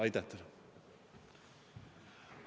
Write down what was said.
Aitäh teile!